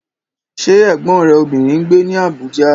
Ṣé Ẹ̀gbọ́n rẹ obìnrin ń gbé ní Abuja?